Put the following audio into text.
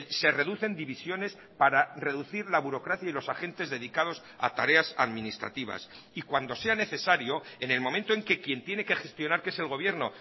se reducen divisiones para reducir la burocracia y los agentes dedicados a tareas administrativas y cuando sea necesario en el momento en que quién tiene que gestionar que es el gobierno